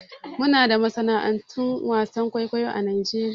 Muna da masana'antun wasan kwaikwayo a Najeriya.